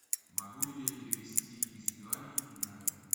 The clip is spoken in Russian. могу ли я перевести из юаней в найры